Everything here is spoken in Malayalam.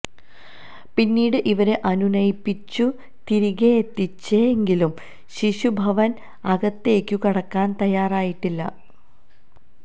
പിന്നീട് ഇവരെ അനുനയിപ്പിച്ചു തിരികെയെത്തിച്ചെങ്കിലും ശിശുഭവന് അകത്തേക്കു കടക്കാൻ തയാറായിട്ടില്ല